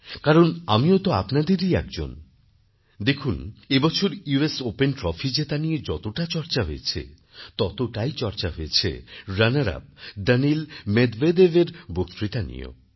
কারণ আমিও তো আপনাদেরই একজন দেখুন এবছর ইউএস ওপেনে ট্রফি জেতা নিয়ে যতটা চর্চা হয়েছে ততটাই চর্চা হয়েছে রানার আপ দানিল মেদভেদেভএর বক্তৃতা নিয়েও